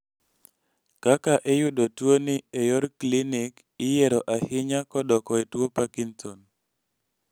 kaka iyudo tuo ni e yor klinic iyiero ahinya kodoko e tuo parkinson